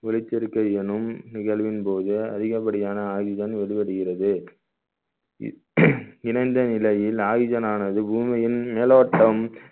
ஒளிச்சேர்க்கை எனும் நிகழ்வின் போது அதிகப்படியான oxygen வெளிவருகிறது இணைந்த நிலையில் oxygen ஆனது பூமியின் மேலோட்டம்